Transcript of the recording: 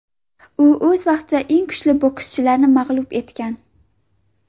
U o‘z vaqtida eng kuchli bokschilarni mag‘lub etgan.